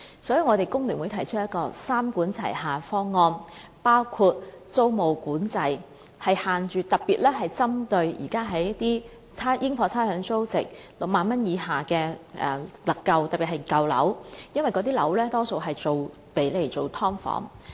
所以，工聯會提出三管齊下的方案，包括推行租務管制，以規限私樓的加租幅度，特別是針對現時在應課差餉租值6萬元以下的私人單位，尤其是舊樓的加租幅度——因為那些樓宇大多數是用作"劏房"。